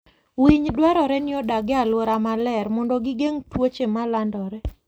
Winy dwarore ni odag e alwora maler mondo gigeng' tuoche ma landore.